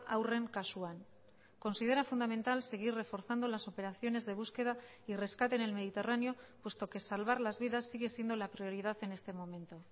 haurren kasuan considera fundamental seguir reforzando las operaciones de búsqueda y rescate en el mediterráneo puesto que salvar las vidas sigue siendo la prioridad en este momento